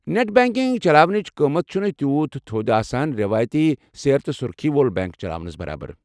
Net banking چلاونٕخ قۭمتھ چُھنہٕ تیوٗت تھود آسان رٮ۪وٲیتی سیرِ تہٕ سُرخی وول بینٛک چلاونس برابر۔